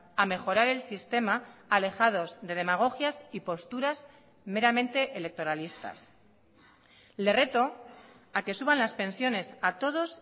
a mejorar el sistema alejados de demagogias y posturas meramente electoralistas le reto a que suban las pensiones a todos